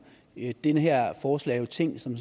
det her forslag er jo tænkt som